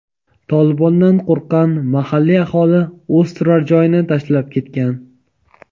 "Tolibon"dan qo‘rqqan mahalliy aholi o‘z turar-joyini tashlab ketgan.